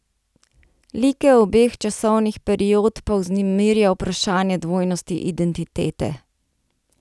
Like obeh časovnih period pa vznemirja vprašanje dvojnosti identitete.